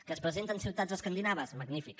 que es presenten ciutats escandinaves magnífic